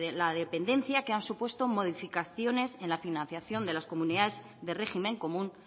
de dependencia que han supuesto modificaciones en la financiación de las comunidades de régimen común